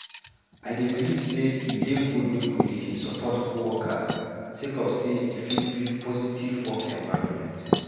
I believe sey e dey good make we dey support co-workers sake of sey e fit build positive work environment.